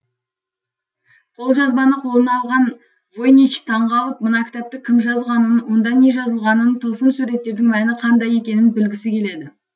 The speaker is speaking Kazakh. қолжазбаны қолына алған войнич таңғалып мына кітапты кім жазғанын онда не жазылғанын тылсым суреттердің мәні қандай екенін білгісі келеді